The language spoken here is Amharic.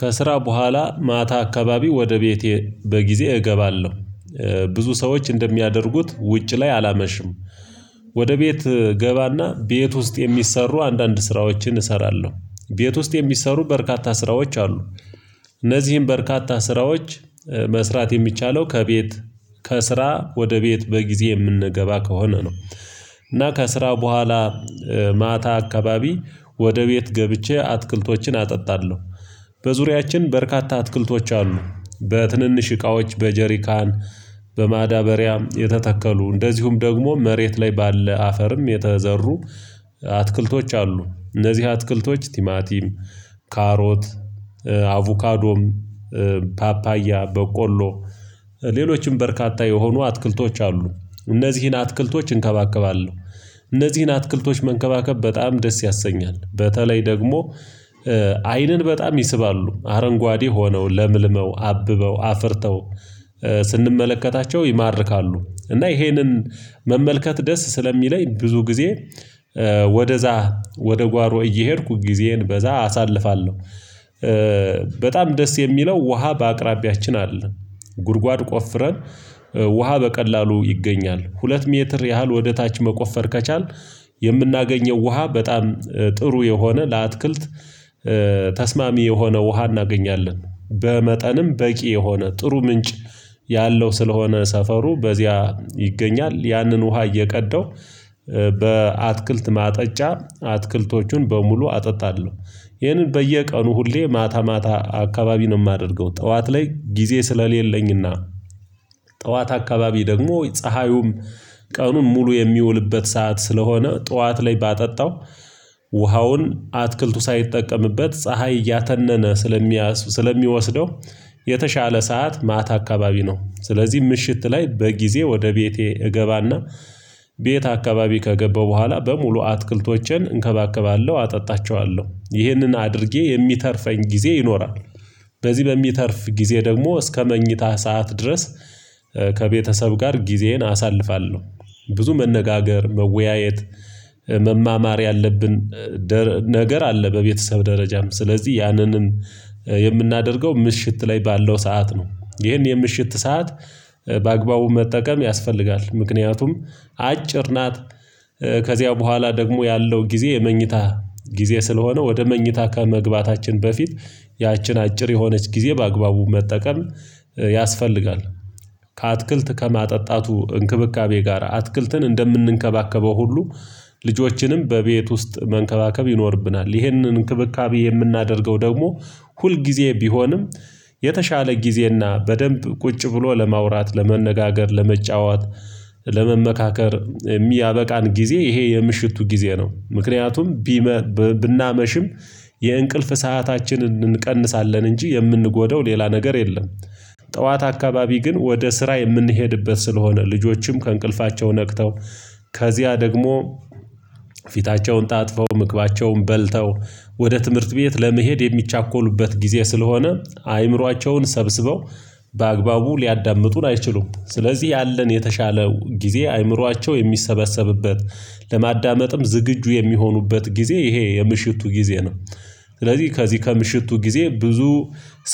ከስራ በኋላ ማታ አካባቢ ወደ ቤቴ በጊዜ እገባለሁ። ብዙ ሰዎች እንደሚያደርጉት ውጭ ላይ አላመሽም። ወደ ቤት እገባና ቤት ውስጥ የሚሰሩ አንዳንድ ስራዎችን እሰራለሁ። ቤት ውስጥ የሚሰሩ በርካታ ስራዎች አሉ። እነዚህን በርካታ ስራዎች መስራት የሚቻለው ከቤት ከስራ ወደ ቤት በጊዜ የምንገባ ከሆነ ነው። እና ከስራ በኋላ ማታ አካባቢ ወደ ቤት ገብቼ አትክልቶችን አጠጣለሁ። በዙሪያችን በርካታ አትክልቶች አሉ። በትንንሽ እቃዎች በጀሪካን በማዳበሪያም የተተከሉ እንደዚሁም ደግሞ መሬት ላይ ባለ አፈርም የተዘሩ። አትክልቶች አሉ እነዚህ አትክልቶች ቲማቲም ካሮት አቮካዶም ፓፓያ በቆሎ ሌሎችም በርካታ የሆኑ አትክልቶች አሉ። እነዚህን አትክልቶች እንከባከባለሁ እነዚህን አትክልቶች መንከባከብ በጣም ደስ ያሰኛል። በተለይ ደግሞ አይንን በጣም ይስባሉ አረንጓዴ ሆነው ለምልመው አብበው አፍርተው ስንመለከታቸው ይማርካሉ። እና ይሄንን መመልከት ደስ ስለሚለኝ ብዙ ጊዜ ወደዛ ወደ ጓሮ እየሄድኩ ጊዜዬን በዛ አሳልፋለሁ። በጣም ደስ የሚለው ውሃ በአቅራቢያችን አለ። ጉድጓድ ቆፍረን ውሃ በቀላሉ ይገኛል ሁለት ሜትር ያህል ወደ ታች መቆፈር ከቻልን የምናገኘው ውሃ በጣም ጥሩ የሆነ ለአትክልት ተስማሚ የሆነ ውሃ እናገኛለን። በመጠንም በቂ የሆነ ጥሩ ምንጭ ያለው ስለሆነ ሰፈሩ በዚያ ይገኛል ያንን ውሃ እየቀደው በአትክልት ማጠጫ አትክልቶቹን በሙሉ አጠጣለሁ። ይህንን በየቀኑ ሁሌ ማታ ማታ አካባቢ ነው የማደርገው ጠዋት ላይ ጊዜ ስለሌለኝና። ጠዋት አካባቢ ደግሞ ፀሀዩም ቀኑን ሙሉ የሚውልበት ሰዓት ስለሆነ ጠዋት ላይ ባጠጣው ውሃውን አትክልቱ ሳይጠቀምበት ፀሀይ እያተነነ ስለሚያስ ስለሚወስደው። የተሻለ ሰዓት ማታ አካባቢ ነው። ስለዚህ ምሽት ላይ በጊዜ ወደ ቤቴ እገባና ቤት አካባቢ ከገባው በኋላ በሙሉ አትክልቶቼን እንከባከባለሁ አጠጣቸዋለሁ ይህንን አድርጌ የሚተርፈኝ ጊዜ ይኖራል። በዚህ በሚተርፍ ጊዜ ደግሞ እስከ መኝታ ሰዓት ድረስ ከቤተሰብ ጋር ጊዜዬን አሳልፋለሁ። ብዙ መነጋገር መወያየት መማማር ያለብን ደ ነገር አለ በቤተሰብ ደረጃም ስለዚህ ያንንም ምሽት ላይ ባለው ሰዓት ነው። ይሄን የምሽት ሰዓት በአግባቡ መጠቀም ያስፈልጋል ምክንያቱም አጭር ናት። ከዚያ በኋላ ደግሞ ያለው ጊዜ የመኝታ ጊዜ ስለሆነ ወደ መኝታ ከመግባታችን በፊት ያችን አጭር የሆነች ጊዜ በአግባቡ መጠቀም ያስፈልጋል። ከአትክልት ከማጠጣቱ እንክብካቤ ጋር አትክልትን እንደምንከባከበው ሁሉ ልጆችንም በቤት ውስጥ መንከባከብ ይኖርብናል። ይህንን እንክብካቤ የምናደርገው ደግሞ ሁል ጊዜ ቢሆንም የተሻለ ጊዜና በደንብ ቁጭ ብሎ ለማውራት ለመነጋገር ለመጫወት ለመመካከር የሚያበቃን ጊዜ ይሄ የምሽቱ ጊዜ ነው። ምክንያቱም ቢመ ብናመሽም የእንቅልፍ ሰአታችንን እንቀንሳለን እንጂ የምንጎደው ሌላ ነገር የለም። ጠዋት አካባቢ ግን ወደ ስራ የምንሄድበት ስለሆነ ልጆችም ከእንቅልፋቸው ነቅተው ከዚያ ደግሞ ፊታቸውን ታጥበው ምግባቸውን በልተው ወደ ትምህርት ቤት ለመሄድ የሚቻኮሉበት ጊዜ ስለሆነ አእምሯቸውን ሰብስበው በአግባቡ ሊያዳምጡን አይችሉም ስለዚህ ያለን የተሻለው ጊዜ አእምሯቸው የሚሰበሰብበት ለማዳመጥም ዝግጁ የሚሆኑበት ጊዜ ይሄ የምሽቱ ጊዜ ነው። ስለዚህ ከዚህ ከምሽቱ ጊዜ ብዙ